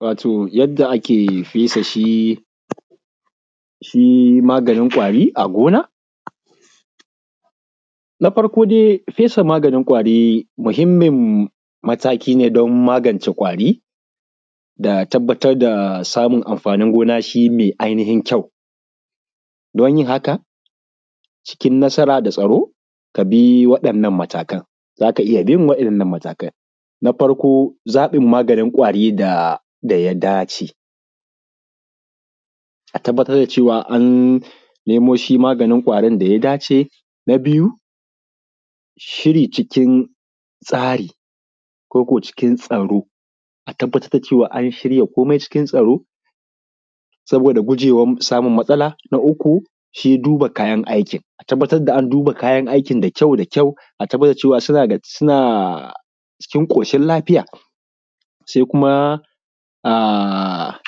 Wato yadda ake fesa shi shi maganin ƙwari a gona, na farko dai fesa maganin ƙwari mahimmin mataki ne dan magance ƙwari da tabbatar da samun amfanin gona shi mai ainihin kyau don yin haka cikin nasara da tsaro ka bi waɗannan matakanzaka iya bin waɗannan matakan, na farko tsaɓin maganin ƙwarin da ya dace a tabbatar da cewa an nemo maganin ƙwarin da ya dace, na biyu, shiri cikin tsari ko ko cikin tsaro a tabbatar da cewa an shiya komai cikin tsaro saboda gujewan samun matsala, na uku, shi duba kayan aikin, a tabbatar da an duba kayan aikin da kyau da kyau a tabbatar da cewa suna ga suna cikin ƙoshin lafiya sai kuma a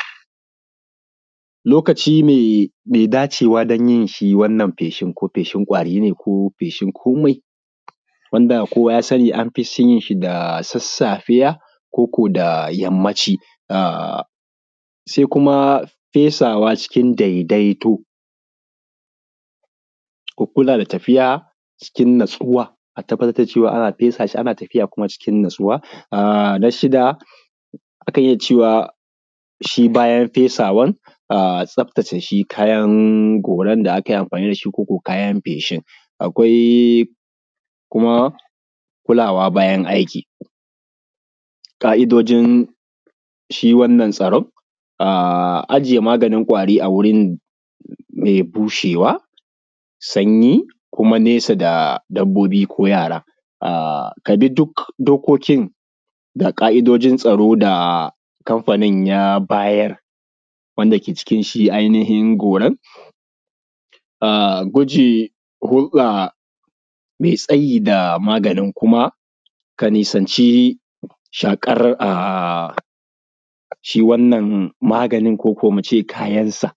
lokaci mai mai dacewa dan yin shi wannan feshin ko feshin ƙwari ne ko feshin komai wanda kowa ya sani an fi yin shi da sassafiya ko ko da yammaci a sai kuma fesawa cikin daidaito,, ku kula da tafiya cikin natsuwa, a tabbatar da cewa ana fesa shi ana tafiya kuma cikin natsuwa, a na shida, akan iya cewa shi bayan fesawan a tsaftace shi kayan goran da akayi amfani da shi ko ko kayan feshin, akwai kuma kulawa bayan aiki, ƙa`idojin shi wannan tsaron a ajiye maganin ƙwari a wuri mai bushewa, sanyi kuma nesa da dabbobi ko yaran a ka bi duk dokokin da ƙa`idojin tsaro da a kamfanin ya bayar wanda ke cikin shi ainihin goran a guje a mai tsayi da maganin kuma ka nisanci shaƙar a shi wannan maganin koko muce kayan sa.